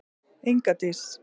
Inga Dís.